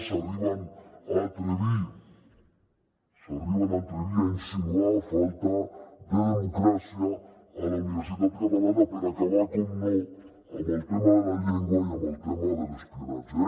s’arriben a atrevir a insinuar falta de democràcia a la universitat catalana per acabar naturalment amb el tema de la llengua i amb el tema de l’espionatge